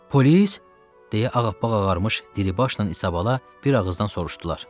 Polis, deyə ağappaq ağarmış Dilibaşla İsabalala bir ağızdan soruşdular.